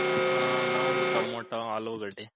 ಹಾ ನಾವು ಟಮ್ಯಾಟೋ ಆಲೂಗಡ್ಡೆ.